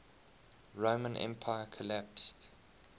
roman empire collapsed